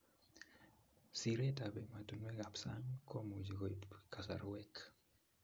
Siret ab emotunuekab sang komuchi koib kasarwek